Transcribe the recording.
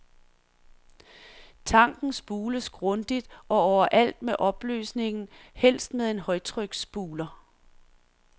Tanken spules grundigt og overalt med opløsningen, helst med en højtryksspuler.